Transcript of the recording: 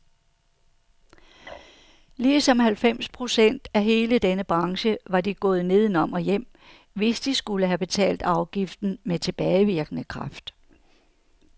Ligesom halvfems procent af hele denne branche var de gået nedenom og hjem, hvis de skulle have betalt afgiften med tilbagevirkende kraft.